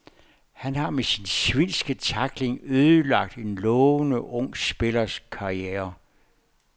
Han har med sin svinske tackling ødelagt en lovende ung spillers karriere.